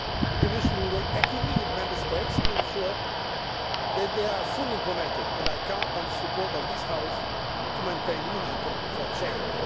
The Commission will work actively with Member States to ensure that they are fully implemented, and I count on the support of this House to maintain the momentum for change.